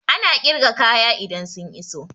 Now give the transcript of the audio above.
Ana ƙirga kaya idan sun iso